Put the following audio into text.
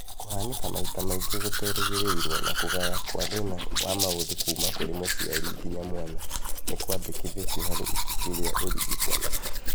Kũhanĩka maita maingĩ gũterĩgĩrĩirwo na kũgaya kwa thĩna wa maũthĩ kuma kũrĩ mũciari nginya mwana, nĩkwandĩkithĩtio harĩ ibuku rĩa ũrigitani